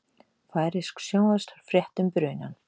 Færeysk sjónvarpsfrétt um brunann